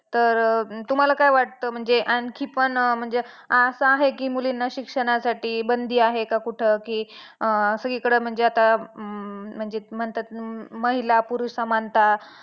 " style=""vertical-align: inherit; "" style=""vertical-align: inherit; ""तत् अं तुम्हाला काय वाटत म्हणजे आणखी पन अं म्हणजे असं आहे की मुलींना शिक्षणासाठी बंदी आहे का कुठ की अं सगळीकडे म्हणजे आता है हम्म म्हणजे म्हणतात महिला पुरुष समानता"